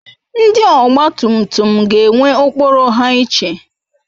Ndi ogba tum tum ga ewe okporo ha iche